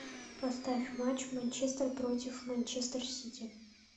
поставь матч манчестер против манчестер сити